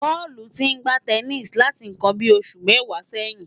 Paul ti ń gbá tẹníìsì láti nǹkan bíi ọdún mẹ́wàá sẹ́yìn.